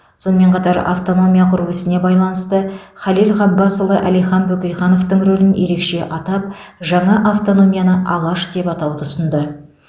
сонымен қатар автономия құру ісіне байланысты халел ғаббасұлы әлихан бөкейхановтың рөлін ерекше атап жаңа автономияны алаш деп атауды ұсынды